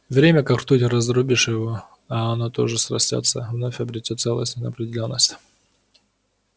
время как ртуть раздробишь его а оно тут же срастётся вновь обретёт целостность и неопределённость